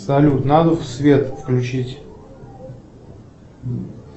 салют надо свет включить